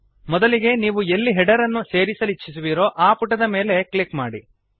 ಮೊದಲಿಗೆ ನೀವು ಎಲ್ಲಿ ಹೆಡರ್ ಅನ್ನು ಸೇರಿಸಲಿಚ್ಛಿಸುವಿರೋ ಆ ಪುಟದ ಮೇಲೆ ಕ್ಲಿಕ್ ಮಾಡಿ